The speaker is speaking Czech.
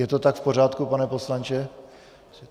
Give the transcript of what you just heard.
Je to tak v pořádku, pane poslanče?